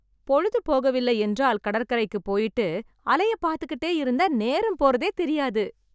பொழுது போகவில்லை என்றால் கடற்கரைக்கு போயிட்டு, அலைய பார்த்துகிட்டே இருந்தா நேரம் போறதே தெரியாது.